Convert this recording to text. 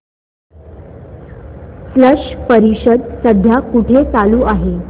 स्लश परिषद सध्या कुठे चालू आहे